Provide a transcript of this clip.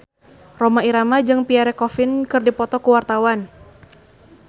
Rhoma Irama jeung Pierre Coffin keur dipoto ku wartawan